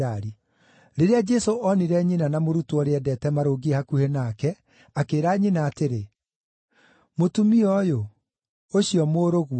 Rĩrĩa Jesũ onire nyina na mũrutwo ũrĩa endete marũngiĩ hakuhĩ nake, akĩĩra nyina atĩrĩ, “Mũtumia ũyũ, ũcio mũrũguo,”